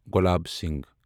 Gulab Singh